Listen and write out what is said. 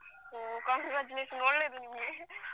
ಹ್ಮ್ congratulations ಒಳ್ಳೇದು ನಿಮಗೆ